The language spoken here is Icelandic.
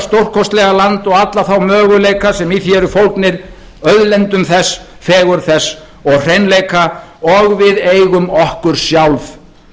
stórkostlega land og alla þá möguleika sem í því eru fólgnir auðlindum þess fegurð þess og hreinleika og við eigum okkur sjálf